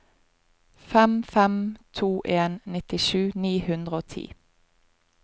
fem fem to en nittisju ni hundre og ti